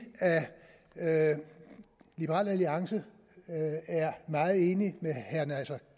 at liberal alliance er meget enig med herre naser